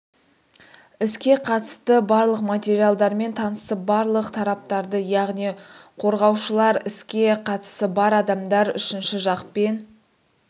іске қатысты барлық материалдармен танысып барлық тараптарды яғни қорғаушылар іске қатысы бар адамдар үшінші жақ пен